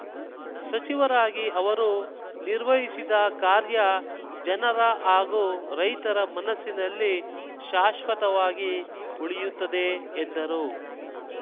ಸಚಿವರಾಗಿ ಅವರು ನಿರ್ವಹಿಸಿದ ಕಾರ್ಯ ಜನರ ಹಾಗೂ ರೈತರ ಮನಸ್ಸಿನಲ್ಲಿ ಶಾಶ್ವತವಾಗಿ ಉಳಿಯುತ್ತದೆ ಎಂದರು